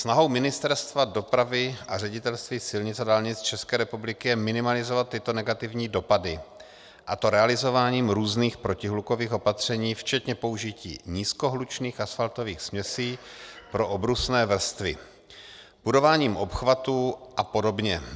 Snahou Ministerstva dopravy a Ředitelství silnic a dálnic České republiky je minimalizovat tyto negativní dopady, a to realizováním různých protihlukových opatření včetně použití nízkohlučných asfaltových směsí pro obrusné vrstvy, budováním obchvatu a podobně.